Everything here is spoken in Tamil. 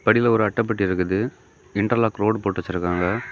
படியில ஒரு அட்டைப்பெட்டி இருக்கு இன்டர் லாக் ரோடு போட்டு வச்சிருக்காங்க.